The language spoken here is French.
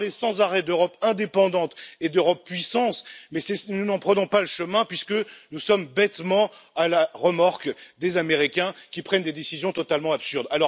Vous parlez sans arrêt d'Europe indépendante et d'Europe puissance, mais nous n'en prenons pas le chemin puisque nous sommes bêtement à la remorque des Américains qui prennent des décisions totalement absurdes.